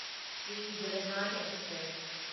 Shri Jagannath express